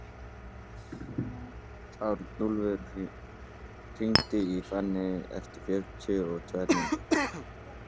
Arnúlfur, hringdu í Finneyju eftir fjörutíu og tvær mínútur.